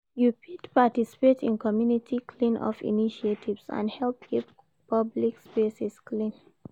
You fit participate in community clean-up initiatives and help keep public spaces clean.